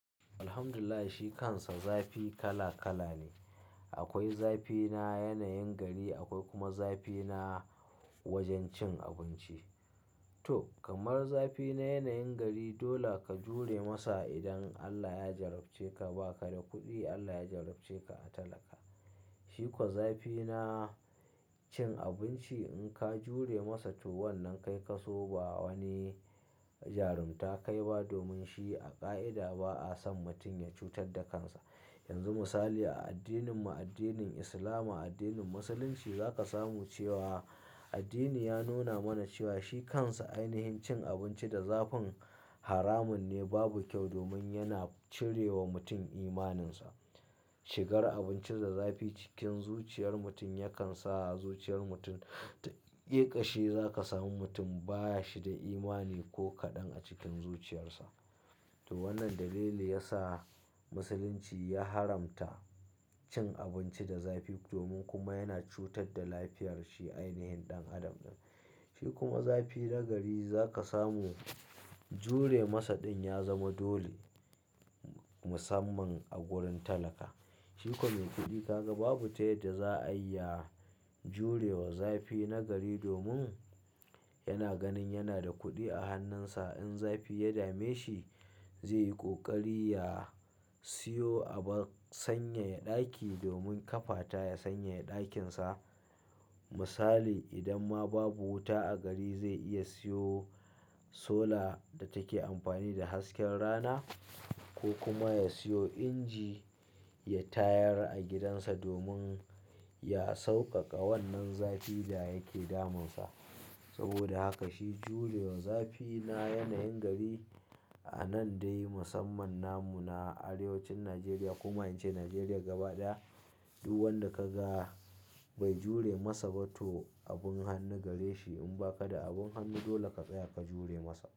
Alhamdulillah, shi kansa zafi kala kala ne. Akwai zafi na yanayin gari, akwai kuma zafi na wajen cin abinci. To, kamar zafi na yanayin gari, dole ka jure masa idan Allah ya jarabce ka ba ka da kuɗi, Allah ya jarabce ka a talaka. Shi ko zafi na cin abinci in ka jure masa to wannan kai ka so ba wani jarumta kai ba domin shi a ƙa'ida ba'a son mutum ya cutar da kansa. Yanzu misali a addininmu addinin Islama, addinin Musulunci za ka samu cewa addini ya nuna mana cewa shi kansa ainihin cin abinci da zafin haramun ne babu kyau domin yana cire wa mutum imaninsa. Shigar abincin da zafi cikin zuciyar mutum yakan sa zuciyar mutum ta ƙeƙashe. Za ka samu mutum baya shi da imani ko kaɗan a cikin zuciyarsa. To wannan dalili ya sa Musulunci ya haramta cin abinci da zafi domin kuma yana cutar da lafiyar shi ainihin ɗan adam ɗin. Shi kuma zafi na gari za ka samu jure masa ɗin ya zama dole musamman a wurin talaka. Shi kuwa mai kuɗi ka ga babu tayar da za'a iya jure wa zafi na gari domin yana ganin yana da kuɗi a hannunsa. In zafi ya dame shi zai yi ƙoƙari ya siyo abar sanyaya ɗaki domin ƙafata ya sanyaya ɗakinsa. Misali idan ma babu wuta a gari zai iya siyo sola da take amfani da hasken rana ko kuma ya siyo inji ya tayar a gidansa domin ya sauƙaƙa wannan zafi da yake damunsa. Saboda haka shi jure wa zafi na yanayin gari a nan dai musamman namu na arewacin Najeriya kuma in ce Najeriya gaba ɗaya, duk wanda ka ga bai jure masa ba to abin hannu gare shi. In ba ka da abin hannu dole ka tsaya ka jure masa.